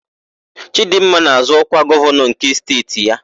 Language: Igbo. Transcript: Chịdịmma na-azọ ọkwa gọvanọ nke steeti ya.